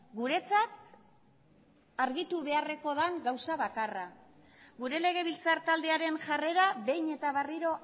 guretzat argitu beharrekoa den gauza bakarra gure legebiltzar taldearen jarrera behin eta berriro